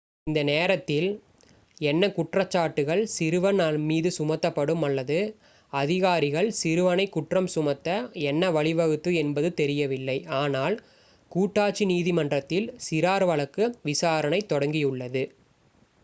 இந்த நேரத்தில் என்ன குற்றச்சாட்டுகள் சிறுவன் மீது சுமத்தப்படும் அல்லது அதிகாரிகள் சிறுவனைக் குற்றம் சுமத்த என்ன வழிவகுத்தது என்பது தெரியவில்லை ஆனால் கூட்டாட்சி நீதிமன்றத்தில் சிறார் வழக்கு விசாரணை தொடங்கியுள்ளது